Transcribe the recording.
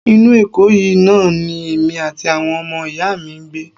Inú Èkó yìí náà ni èmi àti àwọn ọmọ ìyá mi ń gbé